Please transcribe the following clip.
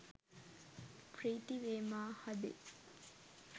ප්‍රීතිවේ මා හදේ .